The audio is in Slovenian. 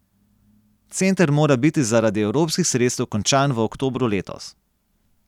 Center mora biti zaradi evropskih sredstev končan v oktobru letos.